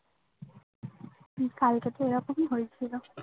কালকেতো এরকমই হইছিলো